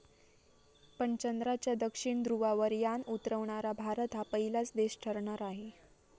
पण चंद्राच्या दक्षिण ध्रुवावर यान उतरवणारा भारत हा पहिलाच देश ठरणार आहे.